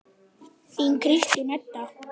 Þín Kristín Edda.